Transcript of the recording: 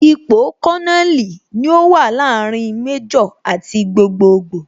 Ipò Kononeli ní ó wà láàrin Méjò àti gbogboogbo